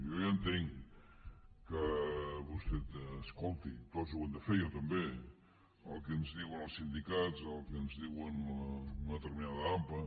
jo ja entenc que vostè escolti tots ho hem de fer jo també el que ens diuen els sindicats el que ens diu una determinada ampa